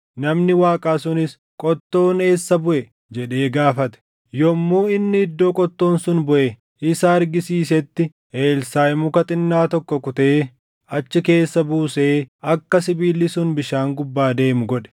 Namni Waaqaa sunis “Qottoon eessa buʼe?” jedhee gaafate. Yommuu inni iddoo qottoon sun buʼe isa argisiisetti Elsaaʼi muka xinnaa tokko kutee achi keessa buusee akka sibiilli sun bishaan gubbaa deemu godhe.